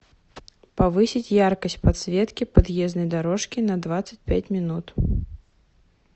повысить яркость подсветки подъездной дорожки на двадцать пять минут